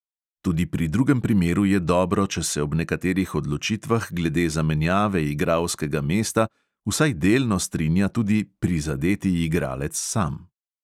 Tudi pri drugem primeru je dobro, če se ob nekaterih odločitvah glede zamenjave igralskega mesta vsaj delno strinja tudi "prizadeti" igralec sam.